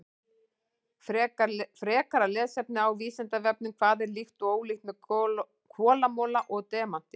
Frekara lesefni á Vísindavefnum: Hvað er líkt og ólíkt með kolamola og demanti?